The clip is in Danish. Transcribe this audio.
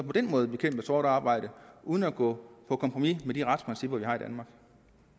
på den måde at bekæmpe sort arbejde uden at gå på kompromis med de retsprincipper vi har i danmark